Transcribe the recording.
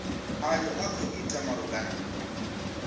ayo a khou itwa malugana